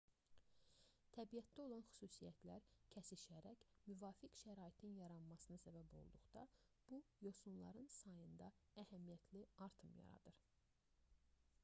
təbiətdə olan xüsusiyyətlər kəsişərək müvafiq şəraitin yaranmasına səbəb olduqda bu yosunların sayında əhəmiyyətli artım yaradır